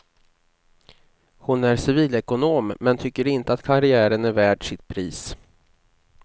Hon är civilekonom men tycker inte att karriären är värd sitt pris.